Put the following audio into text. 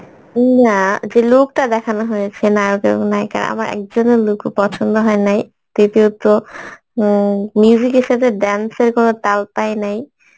উম না যে look টা দেখানো হয়েছে নায়ক এবং নায়িকা আমার একজনের look ও পছন্দ হয়নাই দ্বিতীয়ত, উম music এর সাথে dance এর কোনো তাল পাইনাই